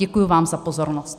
Děkuji vám za pozornost.